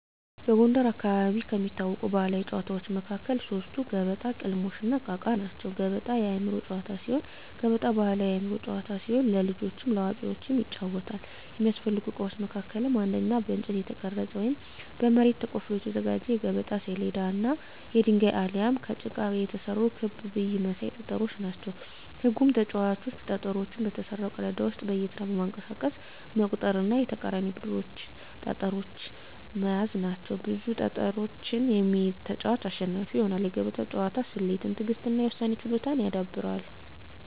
በጎንደር አካባቢ ከሚታወቁ ባሕላዊ ጨዋታዎች መካከል ሶስቱ ገበጣ፣ ቅልሞሽ፣ እና እቃ እቃ ናቸው። ገበጣ የአእምሮ ጨዋታ ሲሆን ገበጣ ባሕላዊ የአእምሮ ጨዋታ ሲሆን ለልጆችም ለአዋቂዎችም ይጫወታል። የሚያስፈልጉ እቃዎች መካከልም አንደኛ በእንጨት የተቀረጸ ወይም በመሬት ተቆፍሮ የተዘጋጀ የገበጣ ሰሌዳ እና የድንጋይ አሊያም ከጭቃ የተሰሩ ክብ ብይ መሳይ ጠጠሮች ናቸው። ህጉም ተጫዋቾች ጠጠሮቹን በተሰራው ቀዳዳ ውስጥ በየተራ በማንቀሳቀስ መቁጠር እና የተቃራኒን ቡድን ጠጠሮች መያዝ ናቸው። ብዙ ጠጠሮችን የሚይዝ ተጫዋች አሸናፊ ይሆናል። የገበጣ ጨዋታ ስሌትን፣ ትዕግሥትን እና የውሳኔ ችሎታን ያዳብራል።